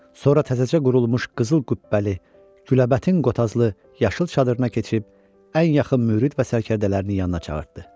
Sonra təzəcə qurulmuş qızıl gümbəli, güləbətin qotazlı yaşıl çadırına keçib ən yaxın mürid və sərkərdələrini yanına çağırdı.